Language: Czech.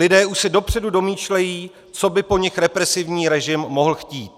Lidé už se dopředu domýšlejí, co by po nich represivní režim mohl chtít.